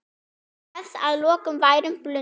Refs að loknum værum blundi.